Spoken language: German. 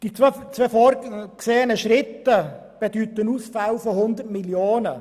Die zwei vorgesehenen Schritte bedeuten Ausfälle von 100 Mio. Franken.